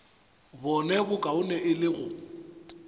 bone bokaone e le go